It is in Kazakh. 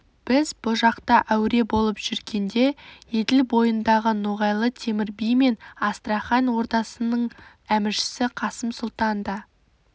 біз бұ жақта әуре болып жүргенде еділ бойындағы ноғайлы темір би мен астрахань ордасының әміршісі қасым сұлтан да